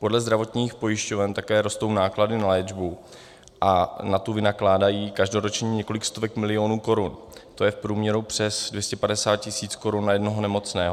Podle zdravotních pojišťoven také rostou náklady na léčbu a na tu vynakládají každoročně kolik stovek milionů korun, to je v průměru přes 250 tisíc korun na jednoho nemocného.